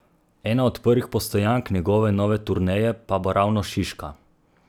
Ena od prvih postojank njegove nove turneje pa bo ravno Šiška!